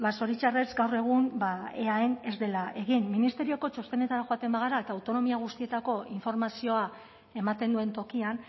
zoritxarrez gaur egun eaen ez dela egin ministerioko txostenetara joaten bagara eta autonomia guztietako informazioa ematen duen tokian